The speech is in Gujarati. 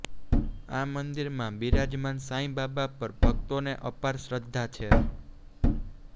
આ મંદિરમાં બિરાજમાન સાંઈબાબા પર ભક્તોને અપાર શ્રધ્ધા છે